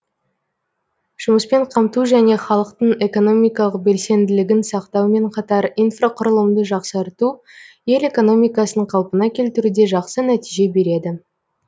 жұмыспен қамту және халықтың экономикалық белсенділігін сақтаумен қатар инфрақұрылымды жақсарту ел экономикасын қалпына келтіруде жақсы нәтиже береді